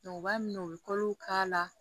u b'a minɛ u bɛ k'a la